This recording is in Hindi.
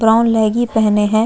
ब्राउन लेगी पहने है।